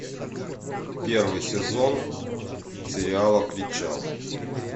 первый сезон сериала причал